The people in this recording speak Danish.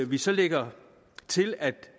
vi så lægger til at